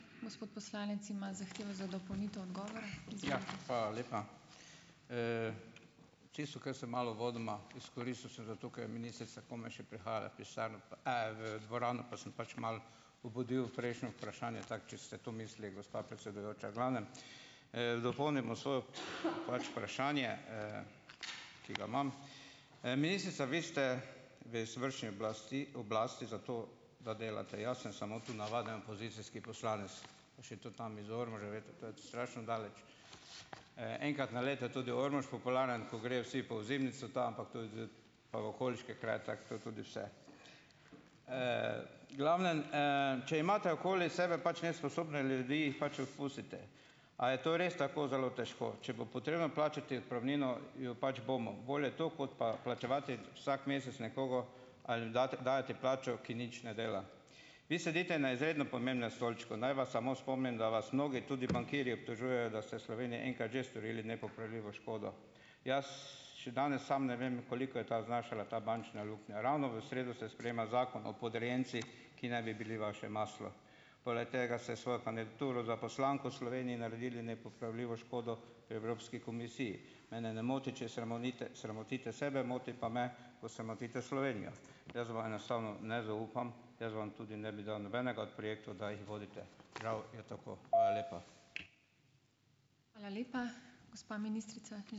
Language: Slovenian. Tisto, kar sem malo uvodoma izkoristil samo zato, ker je ministrica komaj še prihajala v pisarno pa, v dvorano, pa sem pač malo obudil prejšnje vprašanje, tako če ste to mislili, gospa predsedujoča. V glavnem, dopolnil bom svojo pač vprašanje, ki ga imam. Ministrica, vi ste v izvršni oblasti oblasti zato, da delate. Jaz sem samo tu navaden opozicijski poslanec, pa še to tam iz Ormoža. Veste, to je strašno daleč. Enkrat na leto je tudi Ormož popularen, ko grejo vsi po ozimnico, ta ampak to je zdaj pa v okoliške kraje. Tako to je tudi vse. v glavnem, Če imate okoli sebe pač nesposobne ljudi, jih pač odpustite. A je to res tako zelo težko? Če bo potrebno plačati odpravnino, jo pač bomo. Bolje to, kot pa plačevati vsak mesec nekoga ali dati dajati plačo, ko nič ne dela. Vi sedite na izredno pomembnem stolčku. Naj vas samo spomnim, da vas mnogi, tudi bankirji, obtožujejo, da ste Sloveniji enkrat že storili nepopravljivo škodo. Jaz še danes sam ne vem, koliko je ta znašala ta bančna luknja. Ravno v sredo se sprejema zakon o podrejencih, ki naj bi bili vaše maslo. Poleg tega ste svojo kandidaturo za poslanko Sloveniji naredili nepopravljivo škodo v Evropski komisiji. Mene ne moti, če sramotite sebe, moti pa me, ko sramotite Slovenijo. Jaz vam enostavno ne zaupam. Jaz vam tudi ne bi dal nobenega od projektov, da jih vodite. Žal je tako. Hvala lepa.